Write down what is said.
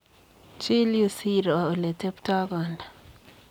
Chil yuu siiro oleteptoi kondaa.